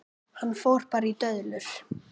Hann fór bara í döðlur!